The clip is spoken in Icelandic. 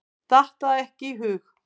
Datt það ekki í hug.